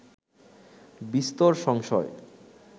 বিস্তর সংশয়